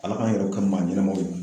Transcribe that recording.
Ala k'an yɛrɛw kɛ maa ɲɛnamaw ye